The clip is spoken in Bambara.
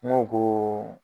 N go ko